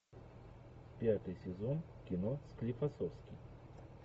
пятый сезон кино склифосовский